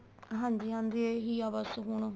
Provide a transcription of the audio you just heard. ਹਾਂਜੀ ਹਾਂਜੀ ਇਹੀ ਆ ਬੱਸ ਹੁਣ